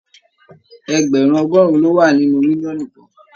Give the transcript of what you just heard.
Ẹgbẹrun ọgọrùn lo wà nínú mílíọ̀nù kan.